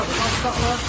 Hacı saxla!